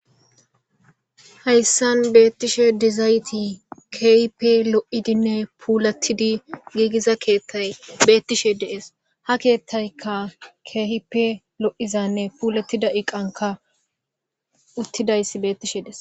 Hayssan beettishe dizayti keehipe lo7idinne puulatidi giigiza keethtay beettishe deees ha keethtaykka keehipe lo7izanne puulettida iqanka uttidayssi beettishe dees.